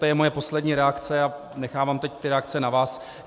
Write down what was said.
To je moje poslední reakce a nechávám teď ty reakce na vás.